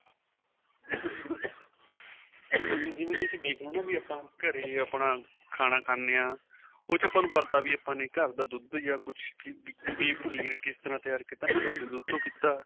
ਹਾਂਜੀ ਜਿਵੇਂ ਤੁਸੀਂ ਦੇਖਲੋ ਨਾ ਆਪਾਂ ਘਰੇ ਆਪਣਾ ਖਾਣਾ ਖਾਣੇ ਹਾਂ ਉਹ ਚ ਆਪਾਂ ਨੂੰ ਪਤਾ ਘਰ ਦਾ ਦੁੱਧ ਜਾਂ ਕੁੱਛ ਵੀ ਪਨੀਰ ਕਿਸ ਤਰਾ ਤਿਆਰ ਕੀਤਾ ਨਾ ਘਰ ਦੇ ਦੁੱਧ ਤੋ ਕੀਤਾ